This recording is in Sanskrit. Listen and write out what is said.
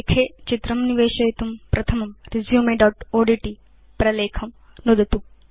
प्रलेखे चित्रं निवेशयितुं प्रथमं resumeओड्ट् प्रलेखं नुदतु